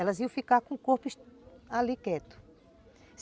Elas iam ficar com o corpo ali quieto.